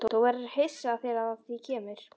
Þú verður hissa þegar að því kemur.